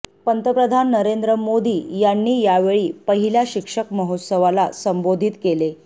पंतप्रधान नरेंद्र मोदी यांनी यावेळी पहिल्या शिक्षक महोत्सवाला संबोधित केले